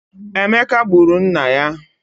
Emeka gburu nna ya